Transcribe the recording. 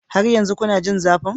Har yanzu kuna jin zafin?